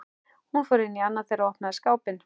Hún fór inn í annað þeirra og opnaði skápinn.